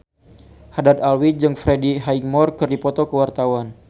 Haddad Alwi jeung Freddie Highmore keur dipoto ku wartawan